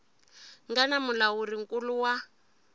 nga na mulawuri nkulu wa